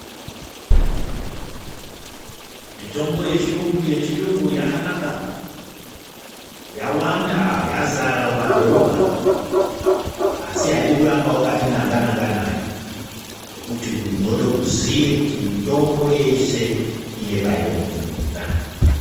Mitombo yechiyungu yakanaka yawanda yazara mumadhorobha. Asi haidi kuramba vakati nanga-nanga nayo nokuti unode uziye kuti mitombo yeshe ine painogumira.